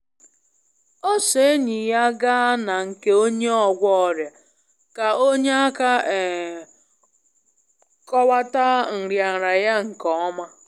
O so enyi ya gaa na nke onye ogwo oria ka o nye aka um kọwata nrianria ya nke ọma.